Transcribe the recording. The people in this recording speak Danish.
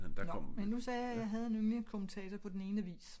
Nåh men nu sagde jeg at jeg havde en yndlings kommentator på den ene avis